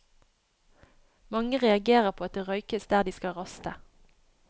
Mange reagerer på at det røykes der de skal raste.